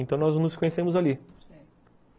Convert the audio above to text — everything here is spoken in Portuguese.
Então nós nos conhecemos ali, certo.